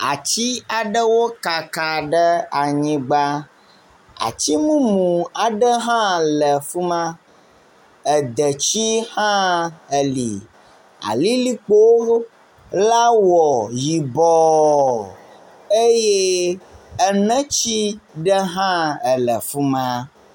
Atsi aɖewo kaka ɖe anyigba. Atsimumu aɖe hã le fi ma. Edetsi hã eli. Alilikpo la wɔ yibɔ eye enetsi ɖe hã ele fi ma.